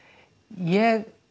ég